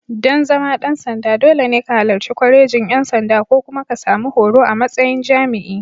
Dan zama ɗan sanda, dole ne ka halarci Kwalejin ʼYan sanda ko kuma ka sami horo a matsayin jami'i.